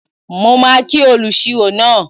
Mo máa kí olùṣirò náà